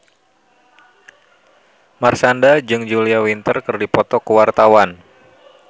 Marshanda jeung Julia Winter keur dipoto ku wartawan